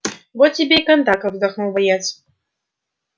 вот тебе и кондаков вздохнул боец